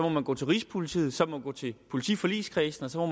må gå til rigspolitiet som må gå til politiforligskredsen og så må